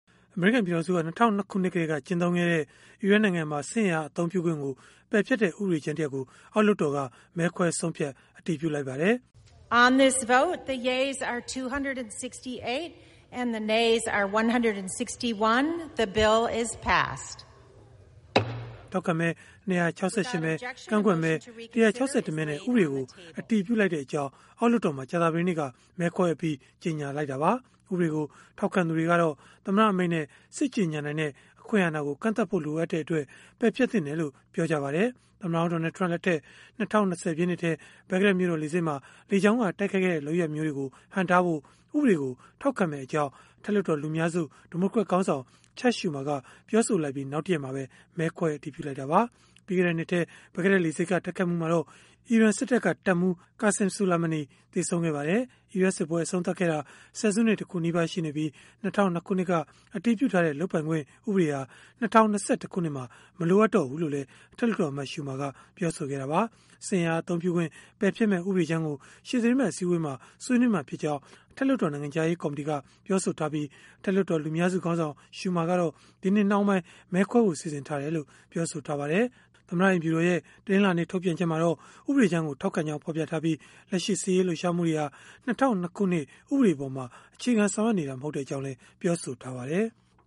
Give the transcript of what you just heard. အမေရိကန် ပြည်ထောင်စုက ၂၀၀၂ ခုနှစ်ကတည်းက ကျင့်သုံးခဲ့တဲ့ အီရတ်နိုင်ငံမှာ စစ်အင်အား အသုံးပြုခွင့်ကို ပယ်ဖျက်တဲ့ ဥပဒေကြမ်းကို အောက်လွှတ်တော်က မဲခွဲဆုံးဖြတ် အတည်ပြုလိုက်ပါတယ်။ “ထောက်ခံမဲ ၂၆၈ မဲ၊ ကန့်ကွက်မဲ ၁၆၁ မဲနဲ့ ဥပဒေကို အတည်ပြုလိုက်ပါတယ်။” လို့ အောက်လွှတ်တော်မှာ ကြာသပတေးနေ့က မဲခွဲအပြီး ကြေညာလိုက်တာပါ။ ဥပဒေကို ထောက်ခံသူတွေကတော့ သမ္မတ အမိန့်နဲ့ စစ်ကြေညာနိုင်တဲ့ အခွင့်အာဏာကို ကန့်သတ်ဖို့ လိုအပ်တဲ့အတွက် ပယ်ဖျက်သင့်တယ်လို့ ပြောကြပါတယ်။ သမ္မတဟောင်း Donald Trump လက်ထက် ၂၀၂၀ ပြည့်နှစ်ထဲ ဘဂ္ဂဒက်မြို့တော် လေဆိပ်မှာ လေကြောင်းက တိုက်ခိုက်ခဲ့တဲ့ လုပ်ရပ်မျိုးတွေကို ဟန့်တားဖို့ ဥပဒေကို ထောက်ခံမယ့်အကြောင်း အထက်လွှတ်တော် လူများစု ဒီမိုကရက်ခေါင်းဆောင် Chuck Schumer က ပြောဆိုလိုက်ပြီး နောက်တရက်မှာပဲ မဲခွဲအတည်ပြုလိုက်တာပါ။ ပြီးခဲ့တဲ့နှစ်ထဲ ဘဂ္ဂဒက်လေဆိပ်က တိုက်ခိုက်မှုမှာတော့ အီရန်စစ်တပ်က တပ်မှူး Qasem Soleimani သေဆုံးခဲ့ပါတယ်။ အီရတ်စစ်ပွဲ အဆုံးသတ်ခဲ့တာ ဆယ်စုနှစ်တခုနီးပါး ရှိနေပြီး၊ ၂၀၀၂ ခုနှစ်က အတည်ပြုထားတဲ့ လုပ်ပိုင်ခွင့်ဥပဒေဟာ ၂၀၂၁ ခုနှစ်မှာ မလိုတော့ဘူးလို့လည်း အထက်လွှတ်တော်အမတ် Schumer ကပြောဆိုခဲ့တာပါ။ စစ်အင်အား အသုံးပြုခွင့် ပယ်ဖျက်မယ့် ဥပဒေကြမ်းကို ရှေ့သီတင်းပတ် အစည်းအဝေးမှာ ဆွေးနွေးမှာဖြစ်ကြောင်း အထက်လွှတ်တော် နိုင်ငံခြားရေး ကော်မတီက ပြောဆိုထားပြီး၊ အထက်လွှတ်တော် လူများစုခေါင်းဆောင် Schumer ကတော့ ဒီနှစ်နှောင်းပိုင်း မဲခွဲဖို့ စီစဉ်ထားတယ်လို့ ပြောပါတယ်။ သမ္မတ အိမ်ဖြူတော်ရဲ့ တနင်္လာနေ့ ထုတ်ပြန်ချက်မှာတော့ ဥပဒေကြမ်းကို ထောက်ခံကြောင်း ဖော်ပြထားပြီး၊ လက်ရှိစစ်ရေး လှုပ်ရှားမှုတွေဟာ ၂၀၀၂ ခုနှစ် ဥပဒေအပေါ်မှာ အခြေခံ ဆောင်ရွက်နေတာ မဟုတ်ကြောင်းလည်း ပြောဆိုထားပါတယ်။